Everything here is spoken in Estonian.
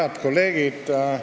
Head kolleegid!